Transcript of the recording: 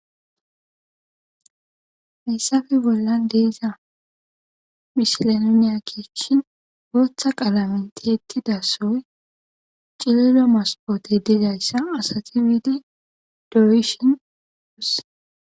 hayssafe bollan deeza mishilainiya keechshin gootha qaalamenti ettidasoy cililo maspoote degayssa asati wiidi dowishin oos